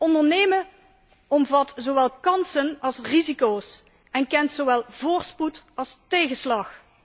Ondernemen omvat zowel kansen als risico's en kent zowel voorspoed als tegenslag.